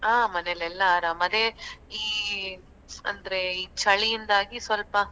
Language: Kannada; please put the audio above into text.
ಹಾ ಮನೆಯಲೆಲ್ಲ ಆರಾಮ್ ಅದೇ ಈ ಅಂದ್ರೆ ಈ ಚಳಿಯಿಂದಾಗಿ ಸ್ವಲ್ಪ.